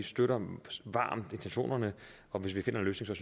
støtter intentionerne og hvis vi finder en løsning